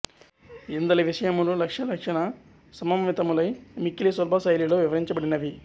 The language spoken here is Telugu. ఇందలి విషయములు లక్ష్య లక్షణ సమంవితములై మిక్కిలి సులభ శైలిలో వివరించబడినవి